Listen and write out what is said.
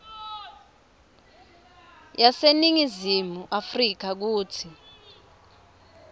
yaseningizimu afrika kutsi